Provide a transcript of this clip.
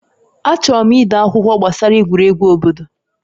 Achọrọ m ide akwụkwọ gbasara egwuregwu obodo